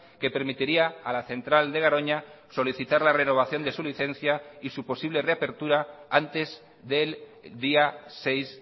que permitiría a la central de garoña solicitar la renovación de su licencia y su posible reapertura antes del día seis